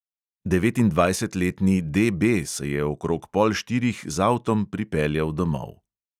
Devetindvajsetletni D B se je okrog pol štirih z avtom pripeljal domov.